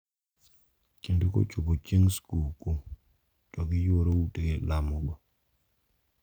Kendo kochopo chieng` skuku to giyuoro ute lamogo.